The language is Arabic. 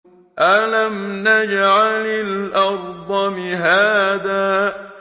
أَلَمْ نَجْعَلِ الْأَرْضَ مِهَادًا